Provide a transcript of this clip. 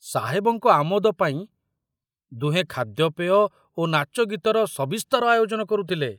ସାହେବଙ୍କ ଆମୋଦ ପାଇଁ ଦୁହେଁ ଖାଦ୍ୟପେୟ ଓ ନାଚଗୀତର ସବିସ୍ତାର ଆୟୋଜନ କରୁଥିଲେ।